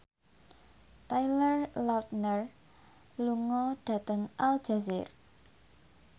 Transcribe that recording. Taylor Lautner lunga dhateng Aljazair